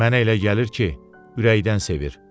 Mənə elə gəlir ki, ürəkdən sevir.